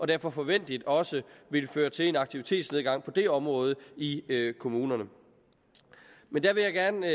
derfor forventeligt også vil føre til en aktivitetsnedgang på det område i kommunerne men der vil jeg gerne